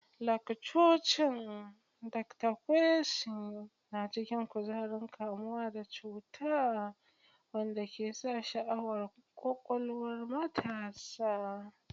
Lakcocin Dr. Kwesi na cike da kuzarin kamuwa da cuta wanda ke sa sha'awar kwakwalwar matasa.